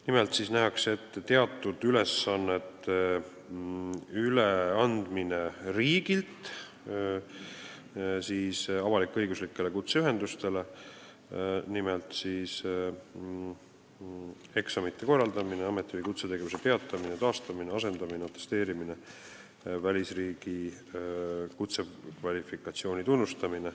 Nimelt nähakse ette teatud ülesannete üleandmine riigilt avalik-õiguslikele kutseühendustele: eksamite korraldamine, ameti- või kutsetegevuse peatamine ja taastamine, asendamine, atesteerimine, välisriigi kutsekvalifikatsiooni tunnustamine.